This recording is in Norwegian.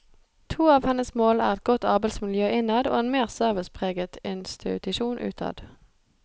To av hennes mål er et godt arbeidsmiljø innad og en mer servicepreget institusjon utad.